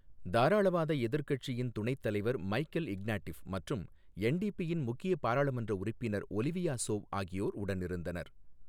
தாராளவாத எதிர்க் கட்சியின் துணைத் தலைவர் மைக்கேல் இக்னாட்டிஃப் மற்றும் என்டிபிஇன் முக்கிய பாராளுமன்ற உறுப்பினர் ஒலிவியா சோவ் ஆகியோர் உடனிருந்தனர்.